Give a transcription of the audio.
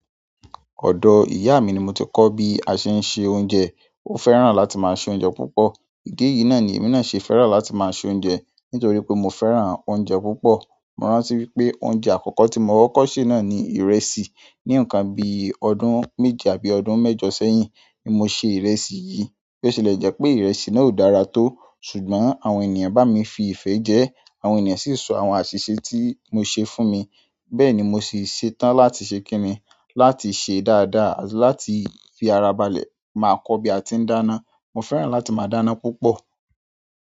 Ọ̀dọ̀ ìyá mi ni mo ti kọ́ bí a ṣe ń ṣe oúnjẹ. Ó fẹ́ràn láti máa se oúnjẹ púpọ̀. Idi yìí náà ni èmi náà ṣe fẹ́ràn láti máa se oúnjẹ nítorí pé mo fẹ́ràn oúnjẹ púpọ̀. Mo rántí wípé oúnjẹ àkọ́kọ́ tí mo kọkọ̀ se náà ni ìrẹsì. Ní nnkàn bíi ọdún méje àbí ọdún mẹ́jọ sẹ́yìn ni mo se ìrẹsì yìí. Bo ti lè jẹ́ pé ìrẹsì náà ò dára tó, ṣùgbọ́n àwọn ènìyàn bá mi fi ìfẹ́ jẹ ẹ́. Àwọn ènìyàn sì sọ àwọn àṣìṣe tí mo ṣe fún mi. Bẹ́ẹ̀ ni mo sì ṣetán láti ṣe kíni, láti ṣe dáadáa àti láti fi ara balẹ̀. Máa kọ́ bí a ti ń dáná. Mo fẹ́ràn láti máa dáná púpọ̀.